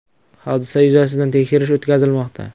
Hodisa yuzasidan tekshirish o‘tkazilmoqda.